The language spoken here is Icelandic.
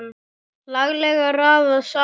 Laglega raðað saman!